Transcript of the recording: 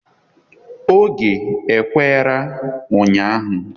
Oge e kwere ụnyaahụ.